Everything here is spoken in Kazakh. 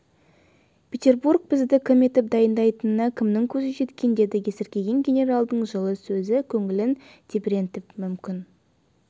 петербург бізді кім етіп дайындайтынына кімнің көзі жеткен деді есіркеген генералдың жылы сөзі көңілін тебірентіп мүмкін